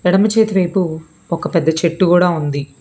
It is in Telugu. ఎడమ చేతి వైపు ఒక పెద్ద చెట్టు కూడా ఉంది.